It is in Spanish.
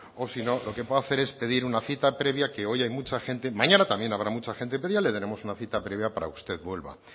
o si no lo que puede hacer es pedir una cita previa que hoy hay mucha gente mañana también habrá mucha gente pero ya le daremos una cita previa para que usted vuelva